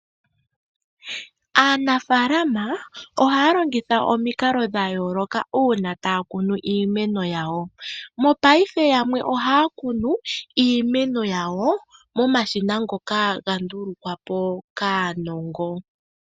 Aanafaalama ohaya longitha omikalo dha yooloka uuna taya kunu iimeno yawo. mopaife yamwe ohaya kunu iimeno yawo momashina ngoka haga ndulukwa po kaanongo.